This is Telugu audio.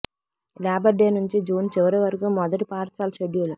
లేబర్ డే నుంచి జూన్ చివరి వరకు మొదటి పాఠశాల షెడ్యూల్